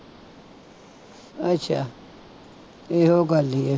ਅੱਛਾ ਇਹੋ ਗੱਲ ਹੀ ਹੈ